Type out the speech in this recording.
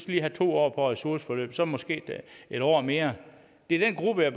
lige have to år på ressourceforløb og så måske en år mere det er den gruppe jeg